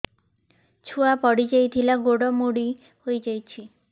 ଛୁଆ ପଡିଯାଇଥିଲା ଗୋଡ ମୋଡ଼ି ହୋଇଯାଇଛି